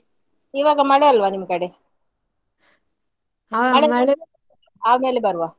ಈವಾಗ ಮಳೆ ಅಲ್ವಾ ನಿಮ್ಕಡೆ ಆಮೇಲೆ ಬರುವ.